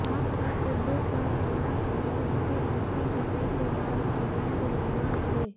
आप का सिद्धू पर हमला कहा उनके मंत्री बनने के बाद अवैध निर्माण बढ़े